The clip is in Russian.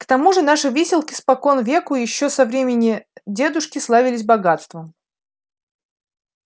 к тому же наши выселки спокон веку ещё со времени дедушки славились богатством